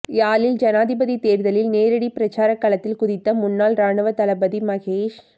யாழில் ஐனாதிபதி தேர்தலில் நேரடி பிரசார களத்தில் குதித்த முன்னாள் இராணுவத் தளபதி மகேஸ்